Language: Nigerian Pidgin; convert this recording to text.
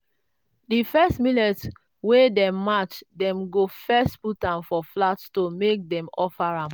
di first millet wey dem mash dem go first put am for flat stone make dem offer am.